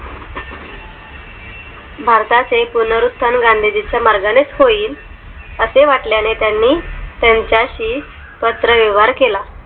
भारताचे पुनरुस्थान गांधीजींच्या मार्गाने होईल असे वाटल्याने त्यांनी त्यांच्याशी पात्र व्यवहार केला